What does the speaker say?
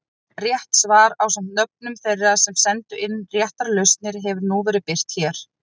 Rétt svar ásamt nöfnum þeirra sem sendu inn réttar lausnir hefur nú verið birt hér.